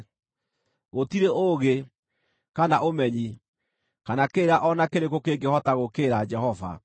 Gũtirĩ ũũgĩ, kana ũmenyi, kana kĩrĩra o na kĩrĩkũ kĩngĩhota gũũkĩrĩra Jehova.